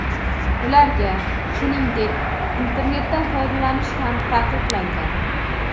Ularga, shuningdek, internetdan foydalanish ham taqiqlangan.